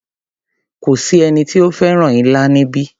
Kò sí ẹni tí ó fẹ́ràn ilá níbí.